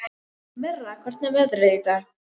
Mirra, hvernig er veðrið í dag?